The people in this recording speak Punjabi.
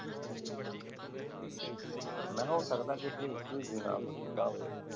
ਮੈਂ ਕਿਹਾ ਹੋ ਸਕਦਾ ਕੀ ਕੋਈ ਪ੍ਰਹੇਜ ਪ੍ਰਹੁਜ ਵੀ ਨਾ ਕੁਛ ਕੀਤਾ ਹੋਵੇ?